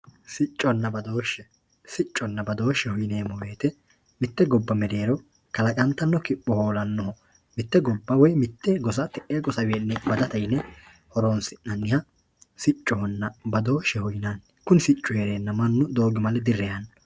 sicconna badooshshe sicconna badoosheho yineemmo wote mitte gobba mereero kalaqantanno kipho hoolannoho mitte gobba woyi mitte gosa te'eewiinni badate yine horonsinanni siccohonna badooshsheho yinanni kuni siccu heereenna mannu doogimale direyaanno.